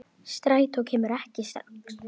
Strætó kemur ekki strax.